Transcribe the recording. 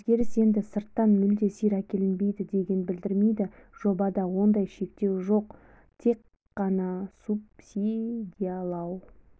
өзгеріс енді сырттан мүлде сиыр әкелінбейді дегенді білдірмейді жобада ондай шектеу де жоқ тек қана субсидиялау